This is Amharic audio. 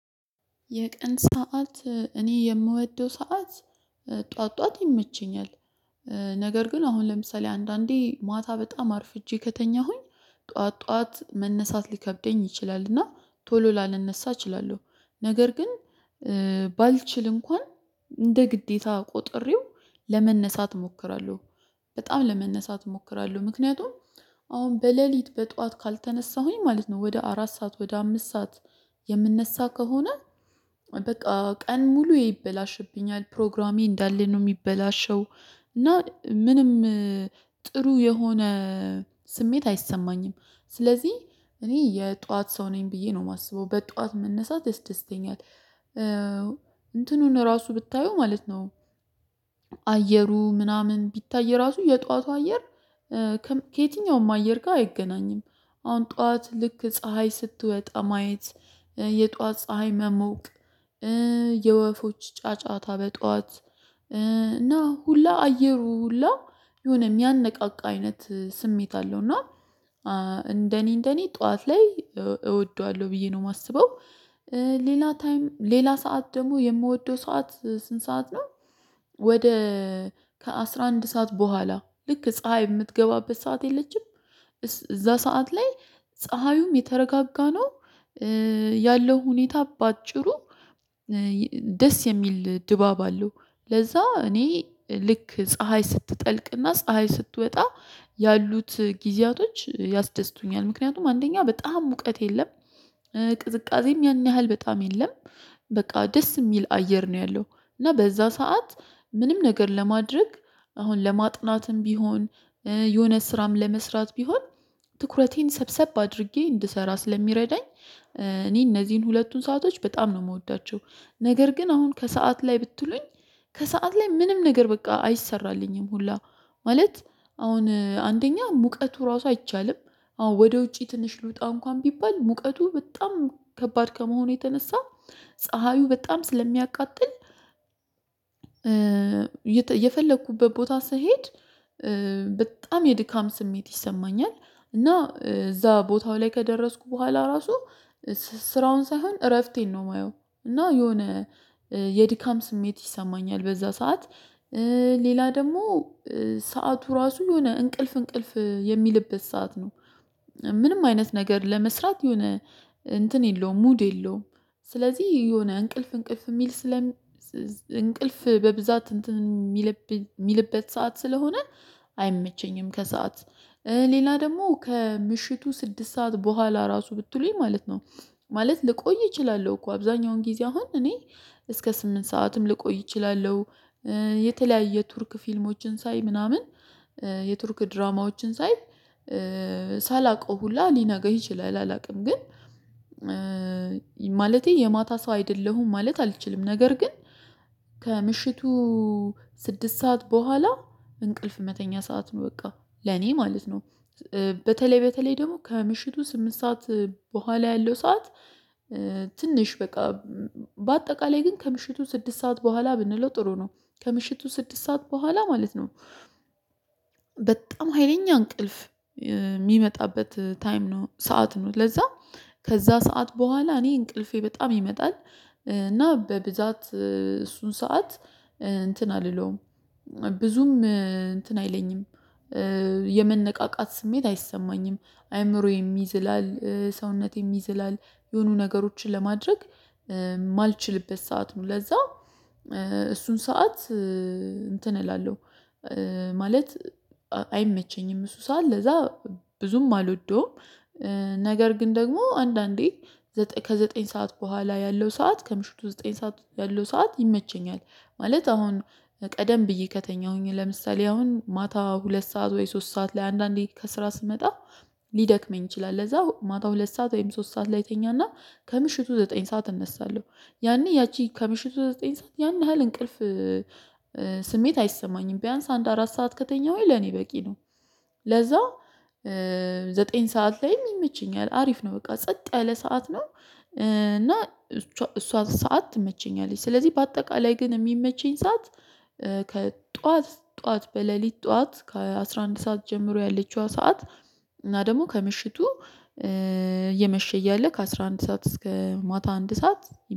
የቀን ሰዓት እኔ የምወደው ሰዓት ጠዋት ጠዋት ይመቸኛል። ነገር ግን አሁን ለምሳሌ አንዳንዴ ማታ በጣም አርፍጄ ከተኛሁኝ ጠዋት ጠዋት መነሳት ሊከብደኝ ይችላል እና ቶሎ ላልነሳ እችላለሁ። ነገር ግን ባልችል እንኳን እንደ ግዴታ ቆጥሬው ለመነሳት እሞክራለሁ። በጣም ለመነሳት እሞክራለሁ ምክንያቱም አሁን በለሊት በጠዋት ካልተነሳሁኝ ማለት ነው ወደ አራት ሰዓት ወደ አምስት ሰዓት የምነሳ ከሆነ በቃ ቀን ሙሉ ይበላሽብኛል ፕሮግራሜ እንዳለን ነው የሚበላሸው። እና ምንም ጥሩ የሆነ ስሜት አይሰማኝም ስለዚህ እኔ የጧት ሰው ነኝ ብዬ ነው የማስበው በጧት መነሳት ደስ ደስተኛል። እንትኑን ራሱ ብታየው ማለት ነው አየሩ ምናምን ቢታይ ራሱ የጧቱ አየር ከየትኛውም አየር ጋር አይገናኝም። አሁን ጠዋት ልክ ፀሀይ ስትወጣ ማየት የጠዋት ፀሀይ መሞቅ የወፎች ጫጫታ በጧት እና ሁላ አየሩ ሁላ የሆነ የሚያነቃቃ አይነት ስሜት አለው እና እንደኔ እንደኔ ጠዋት ላይ እወደዋለሁ ብዬ ነው የማስበው። ሌላ ታይም ሌላ ሰዓት ደግሞ የምወደው ሰዓት ስንት ሰዓት ነው? ወደ ከአሥራ አንድ ሰዓት በኋላ ልክ ፀሀይ የምትገባበት ሰዓት የለችም እዛ ሰዓት ላይ ፀሀዩም የተረጋጋ ነው። ያለው ሁኔታ በአጭሩ ደስ የሚል ድባብ አለው ለዛ እኔ ልክ ፀሀይ ስትጠልቅና ፀሀይ ስትወጣ ያሉት ጊዜያቶች ያስደስቱኛል። ምክንያቱም አንደኛ በጣም ሙቀት የለም ቅዝቃዜም ያን ያህል በጣም የለም በቃ ደስ የሚል አየር ነው ያለው እና በዛ ሰዓት ምንም ነገር ለማድረግ አሁን ለማጥናትም ቢሆን የሆነ ስራም ለመስራት ቢሆን ትኩረቴን ሰብሰብ አድርጌ እንድሰራ ስለሚረዳኝ እኔ እነዚህን ሁለቱን ሰአቶች በጣም ነው የምወዳቸው። ነገር ግን አሁን ከሰአት ላይ ብትሉኝ ከሰአት ላይ ምንም ነገር በቃ አይሰራልኝም ሁላ ማለት አሁን አንደኛ ሙቀቱ ራሱ አይቻልም አዎ ወደ ውጪ ትንሽ ልውጣ እንኳን ቢባል ሙቀቱ በጣም ከባድ ከመሆኑ የተነሳ ፀሀዩ በጣም ስለሚያቃጥል የፈለኩበት ቦታ ስሄድ በጣም የድካም ስሜት ይሰማኛል። እና እዛ ቦታው ላይ ከደረስኩ በኋላ ራሱ ስራውን ሳይሆን እረፍቴን ነው የማየው። እና የሆነ የድካም ስሜት ይሰማኛል በዛ ሰዓት ሌላ ደግሞ ሰዓቱ ራሱ የሆነ እንቅልፍ እንቅልፍ የሚልበት ሰዓት ነው ምንም አይነት ነገር ለመስራት የሆነ እንትን የለውም ሙድ የለውም። ስለዚህ የሆነ እንቅልፍ እንቅልፍ የሚል ስለ እንቅልፍ በብዛት እንትን የሚልበት ሰዓት ስለሆነ አይመቸኝም። ከሰአት ሌላ ደግሞ ከምሽቱ ስድስት ሰዓት በኋላ ራሱ ብትሉኝ ማለት ነው ማለት ልቆይ እችላለሁ እኮ አብዛኛውን ጊዜ አሁን እኔ እስከ ስምንት ሰዓትም ልቆይ እችላለሁ። የተለያየ ቱርክ ፊልሞችን ሳይ ምናምን የቱርክ ድራማዎችን ሳይ ሳላውቀው ሁላ ሊነገር ይችላል አላውቅም ግን ማለቴ የማታ ሰው አይደለሁም። ማለት አልችልም ነገር ግን ከምሽቱ ስድስት ሰዓት በኋላ እንቅልፍ መተኛ ሰዓት ነው በቃ ለኔ ማለት ነው። በተለይ በተለይ ደግሞ ከምሽቱ ስምንት ሰዓት በኋላ ያለው ሰዓት ትንሽ በቃ በአጠቃላይ ግን ከምሽቱ ስድስት ሰዓት በኋላ ብንለው ጥሩ ነው ከምሽቱ ስድስት ሰዓት በኋላ ማለት ነው። በጣም ሀይለኛ እንቅልፍ የሚመጣበት ታይም ነው ሰዓት ነው ለዛ ከዛ ሰዓት በኋላ እኔ እንቅልፌ በጣም ይመጣል እና በብዛት እሱን ሰዓት እንትን አልለውም ብዙም እንትን አይለኝም የመነቃቃት ስሜት አይሰማኝም። አይምሮዬም ይዝላል ሰውነቴም ይዝላል የሆኑ ነገሮችን ለማድረግ የማልችልበት ሰዓት ነው ለዛ እሱን ሰዓት እንትን እላለሁ ማለት አይመቸኝም እሱ ሰዓት ለዛ ብዙም አልወደውም። ነገር ግን ደግሞ አንዳንዴ ከዘጠኝ ሰዓት በኋላ ያለው ሰዓት ከምሽቱ ዘጠኝ ሰዓት ያለው ሰዓት ይመቸኛል። ማለት አሁን ቀደም ብዬ ከተኛሁኝ ለምሳሌ አሁን ማታ ሁለት ሰዓት ወይ ሶስት ሰዓት ላይ አንዳንዴ ከስራ ስመጣ ሊደክመኝ ይችላል ለዛ ማታ ሁለት ሰዓት ወይም ሶስት ሰዓት ላይ እተኛና ከምሽቱ ዘጠኝ ሰዓት እነሳለሁ ያኔ ያቺ ከምሽቱ ዘጠኝ ሰዓት ያን ያህል እንቅልፍ ስሜት አይሰማኝም ቢያንስ አንድ አራት ሰዓት ከተኛሁኝ ለኔ በቂ ነው። ለዛ ዘጠኝ ሰዓት ላይም ይመቸኛል አሪፍ ነው በቃ ጸጥ ያለ ሰዓት ነው። እና እሷ ሰዓት ትመቸኛለች ስለዚህ በአጠቃላይ ግን የሚመቸኝ ሰዓት ከጠዋት ጠዋት በሌሊት ጠዋት ከአሥራ አንድ ሰዓት ጀምሮ ያለችዋ ሰዓት እና ደግሞ ከምሽቱ እየመሸ እያለ ከአሥራ አንድ ሰዓት እስከ ማታ አንድ ሰዓት።